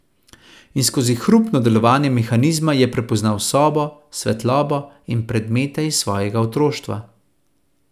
In skozi hrupno delovanje mehanizma je prepoznal sobo, svetlobo in predmete iz svojega otroštva ...